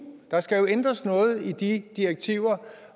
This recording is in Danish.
der skal jo ændres noget i de direktiver